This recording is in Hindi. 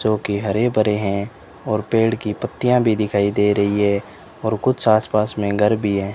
जो कि हरे भरे हैं और पेड़ की पत्तियां भी दिखाई दे रही है और कुछ आस पास में घर भी है।